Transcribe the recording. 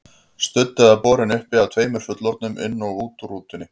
Studd eða borin uppi af tveimur fullorðnum, inn og út úr rútunni.